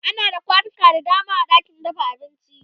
ana da kwanuka da dama a ɗakin dafa abinci